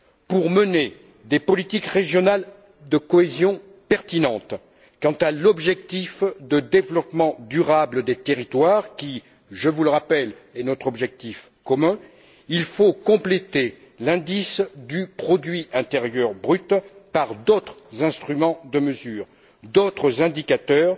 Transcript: Pour mener des politiques régionales de cohésion pertinentes quant à l'objectif de développement durable des territoires qui, je vous le rappelle, est notre objectif commun, il faut compléter l'indice du produit intérieur brut par d'autres instruments de mesure, d'autres indicateurs,